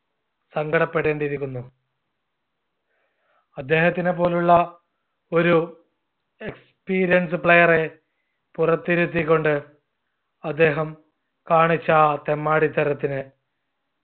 സങ്കടപ്പെടേണ്ടി ഇരിക്കുന്നു. അദ്ദേഹത്തിനെ പോലുള്ള ഒരു experienced player എ പുറത്തിരുത്തിക്കൊണ്ട് അദ്ദേഹം കാണിച്ച ആ തെമ്മാടിത്തരത്തിന്